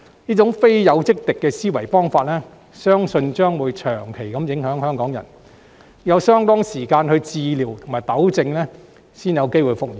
這種非友即敵的思維方式，相信將會長期影響香港人，要有相當長時間的治療和糾正，才有希望復原。